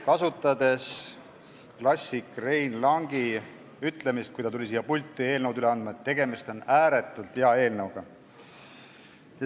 Kasutades klassik Rein Langi ütlemist, kui ta tuli siia pulti eelnõu üle andma, siis tegemist on ääretult hea eelnõuga.